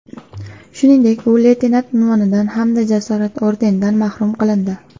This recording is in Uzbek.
Shuningdek, u leytenant unvonidan hamda Jasorat ordenidan mahrum qilindi.